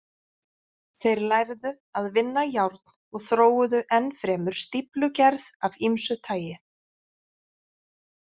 Þeir lærðu að vinna járn og þróuðu enn fremur stíflugerð af ýmsu tagi.